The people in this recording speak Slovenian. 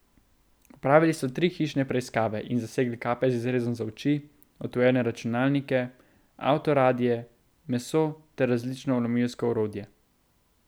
Opravili so tri hišne preiskave in zasegli kape z izrezom za oči, odtujene računalnike, avtoradie, meso ter različno vlomilsko orodje.